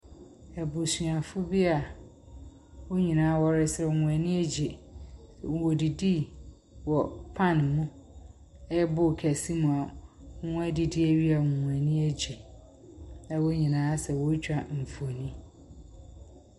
Abusuafo bi a wɔn nyina wɔresaw, wɔn ani egye. Wodidii wɔ pan no mu a ɔyɛ bowl kɛse mu a wɔn adidi ewie ma wɔn ani egye a wɔn nyina ayɛ sɛ woritwa mfonin.